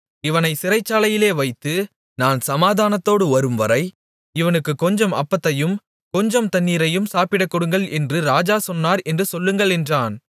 இவனைச் சிறைச்சாலையிலே வைத்து நான் சமாதானத்தோடு வரும்வரை இவனுக்கு கொஞ்சம் அப்பத்தையும் கொஞ்சம் தண்ணீரையும் சாப்பிடக் கொடுங்கள் என்று ராஜா சொன்னார் என்று சொல்லுங்கள் என்றான்